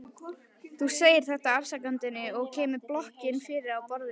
Þú segir þetta afsakandi og kemur blokkinni fyrir á borðinu.